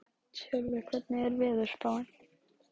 Tjörvi, hvernig er veðurspáin?